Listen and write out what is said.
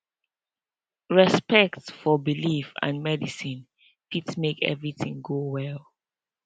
respect for belief and medicine fit make everything go well